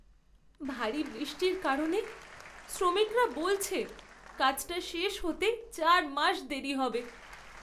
ভারী বৃষ্টির কারণে শ্রমিকরা বলছে কাজটা শেষ হতে চার মাস দেরী হবে।